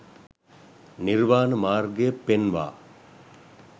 නිර්වාණ මාර්ගය පෙන්වා